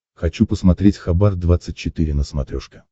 хочу посмотреть хабар двадцать четыре на смотрешке